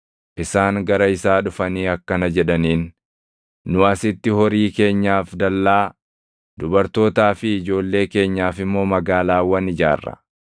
Isaan gara isaa dhufanii akkana jedhaniin; “Nu asitti horii keenyaaf dallaa, dubartootaa fi ijoollee keenyaaf immoo magaalaawwan ijaarra.